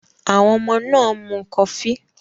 Àwọn ọmọ náà ń mu kọfí